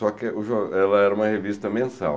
Só que o jor ela era uma revista mensal.